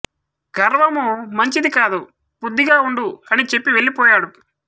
గర్వము మంచిది కాదు బుద్ధిగా ఉండు అని చెప్పి వెళ్ళి పోయాడు